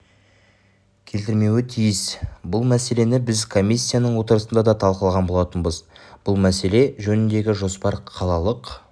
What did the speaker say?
келтірмеуі тиіс бұл мәселені біз комиссияның отырысында да талқылаған болатынбыз бұл мәселе жөніндегі жоспар қалалық